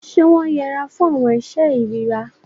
Ṣe wọn yẹ'ra fún awọn iṣe irira?